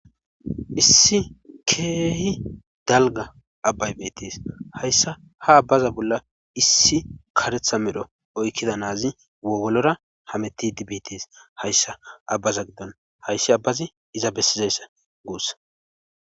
issi keehi dalga abbay bettis hayssa ha abbaza bolla issi karetha medho oykkida naazi wogolora hameti dibitis hayssa abbaza giddon hayssi abbazi iza bessizayssa guussa